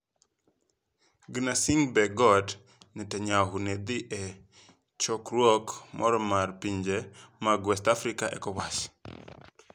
Gnassingbe kod Netanyahu ne dhi e chokruok moro mar pinje mag West Africa (Ecowas).